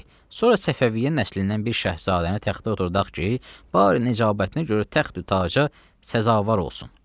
Sonra Səfəviyyə nəslindən bir şəhzadəni təxtə oturduaq ki, bari necabətinə görə təxtü-taca səzavar olsun.”